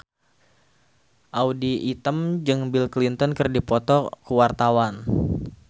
Audy Item jeung Bill Clinton keur dipoto ku wartawan